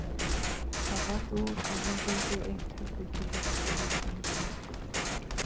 Það varð úr að hann fengi eitt herbergi leigt í húsinu hjá okkur.